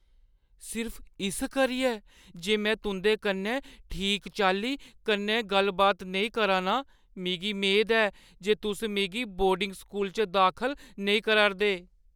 सिर्फ इस करियै जे में तुंʼदे कन्नै ठीक चाल्ली कन्नै गल्ल-बात नेईं करा 'रना आं, मिगी मेद ऐ जे तुस मिगी बोर्डिंग स्कूल च दाखल नेईं करा' रदे?